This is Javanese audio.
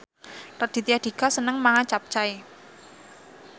Raditya Dika seneng mangan capcay